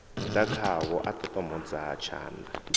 ḓa khavho a ṱoṱomodza tshanḓa